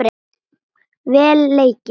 Vel leikið.